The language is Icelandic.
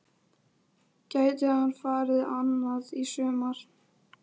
Gæti hann farið annað í sumar?